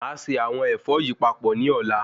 Máà ṣe àwọn Ẹ̀fọ yìí papọ̀ ni ọ̀la